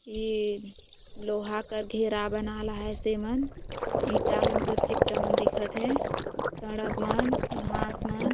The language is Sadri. ये लोहा का घेरा बनाला है सेम ईटा मन का चित्र मन दिखत हे सड़क वान घाँस मन--